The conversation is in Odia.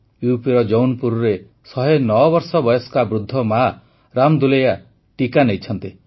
ୟୁପିର ଜୌନ୍ପୁରରେ ୧୦୯ ବର୍ଷ ବୟସ୍କ ବୃଦ୍ଧ ମା ରାମଦୁଲୈୟା ଟିକା ନେଇଛନ୍ତି